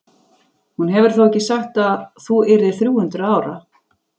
Hún hefur þó ekki sagt að þú yrðir þrjú hundruð ára?